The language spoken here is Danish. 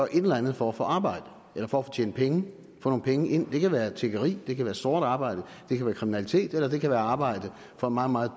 et eller andet for at få arbejde eller for at tjene penge få nogle penge ind det kan være tiggeri det kan være sort arbejde det kan være kriminalitet eller det kan være arbejde på meget meget